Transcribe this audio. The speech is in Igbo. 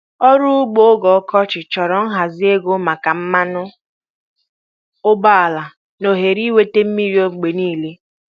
Ọrụ ugbo oge ọkọchị chọrọ nhazi, ego maka mmanụ ụgbọala, na ohere ịnweta mmiri mgbe niile.